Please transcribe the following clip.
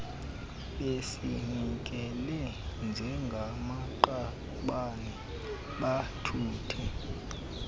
bezinikele njengamaqabane bathuthe